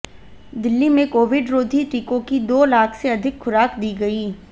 दिल्ली में कोविड रोधी टीकों की दो लाख से अधिक खुराक दी गयी